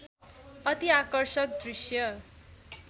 अति आकर्षक दृश्य